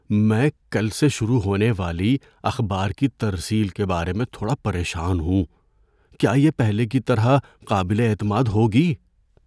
میں کل سے شروع ہونے والی اخبار کی ترسیل کے بارے میں تھوڑا پریشان ہوں۔ کیا یہ پہلے کی طرح قابل اعتماد ہوگی؟